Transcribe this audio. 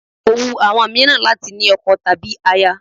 Kò wu àwọn mìíràn láti ní ọkọ tàbí aya